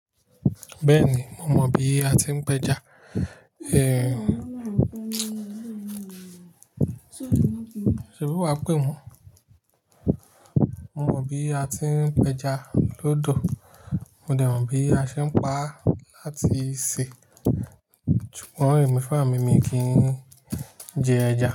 Bẹ́ẹ̀ni, mo mọ bí a ti ń péja. Ṣèbí wàá pè wọ́n? Mo mọ bí a ti ń péja lódò, mo dẹ̀ mọ̀ bí a ṣe ń pa láti sè, ṣùgbọ́n emifurá mi mi ní kí n jẹ ẹja.